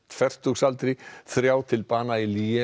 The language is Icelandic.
fertugsaldri þrjá til bana í